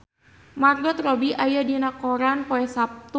Margot Robbie aya dina koran poe Saptu